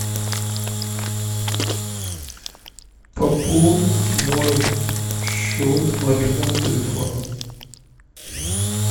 пополнить мой счет мобильного телефона